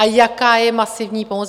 A jaká je masivní pomoc?